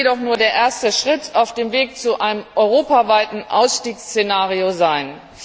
Dies kann jedoch nur der erste Schritt auf dem Weg zu einem europaweiten Ausstiegsszenario sein.